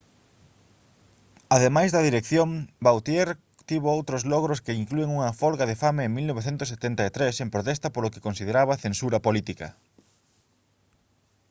ademais da dirección vautier tivo outros logros que inclúen unha folga de fame en 1973 en protesta polo que consideraba censura política